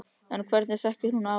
En hvernig þekkir hún afa minn?